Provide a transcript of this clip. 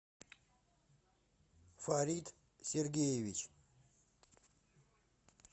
фарит сергеевич